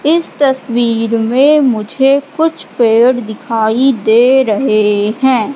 इस तस्वीर में मुझे कुछ पेड़ दिखाई दे रहे हैं।